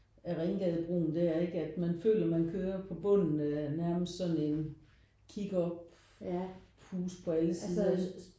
Af Ringgadebroen der ikke at føler man kører på bunden af nærmest sådan en kig op huse på alle sider